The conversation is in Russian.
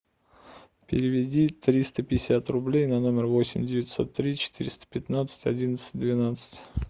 переведи триста пятьдесят рублей на номер восемь девятьсот три четыреста пятнадцать одиннадцать двенадцать